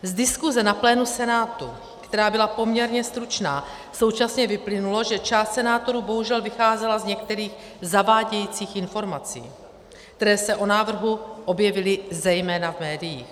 Z diskuze na plénu Senátu, která byla poměrně stručná, současně vyplynulo, že část senátorů bohužel vycházela z některých zavádějících informací, které se o návrhu objevily zejména v médiích.